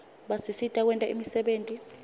basisita kwenta imisebenti